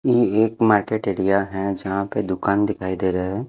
ये एक market area है जहाँ पे दुकान दिखाई दे रहा है।